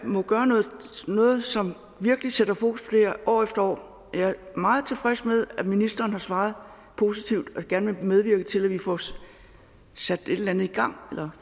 noget som virkelig sætter fokus her år efter år jeg er meget tilfreds med at ministeren har svaret positivt og gerne vil medvirke til at vi får sat et eller andet i gang eller